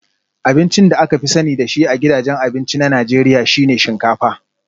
Abincin da aka fi sani da shi a gidajen abinci na Najeriya shi ne shinkafa